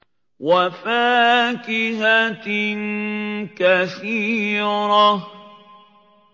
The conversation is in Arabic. وَفَاكِهَةٍ كَثِيرَةٍ